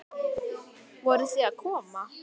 Voruð þið að koma?